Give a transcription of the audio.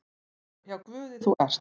Hjá Guði þú ert.